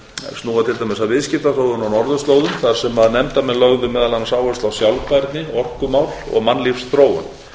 dæmis að viðskiptaþróun á norðurslóðum þar sem nefndarmenn lögðu meðal annars áherslu á sjálfbærni orkumál og mannlífsþróun